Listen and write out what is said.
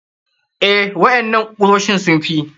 Eh, waƴannan kusoshin sun fi.